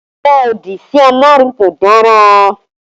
Ọrọ òdì sí Ọlọ́run kò dára